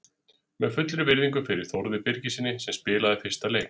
Með fullri virðingu fyrir Þórði Birgissyni sem spilaði fyrsta leik.